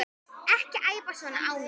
Ekki æpa svona á mig.